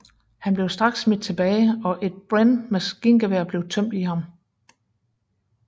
Han blev straks smidt tilbage og et Bren maskingevær blev tømt i ham